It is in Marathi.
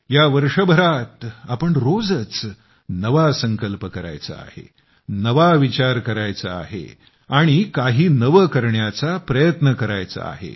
या वर्षभरात आपण रोजच नवा संकल्प करायचा आहे नवा विचार करायचा आहे आणि काही नवे करण्याचा प्रयत्न करायचा आहे